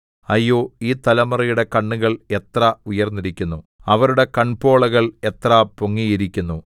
അയ്യോ ഈ തലമുറയുടെ കണ്ണുകൾ എത്ര ഉയർന്നിരിക്കുന്നു അവരുടെ കൺപോളകൾ എത്ര പൊങ്ങിയിരിക്കുന്നു